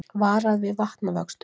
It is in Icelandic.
Varað við vatnavöxtum